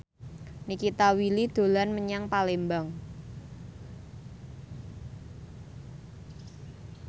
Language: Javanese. Nikita Willy dolan menyang Palembang